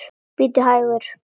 Bíddu hægur.